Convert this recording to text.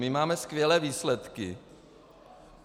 My máme skvělé výsledky.